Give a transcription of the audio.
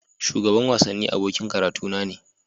Shugaban wasanni abokin karatuna ne.